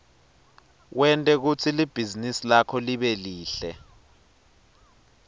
wente kutsi libhizinisi lakho libe lihle